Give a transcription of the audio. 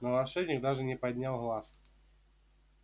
но волшебник даже не поднял глаз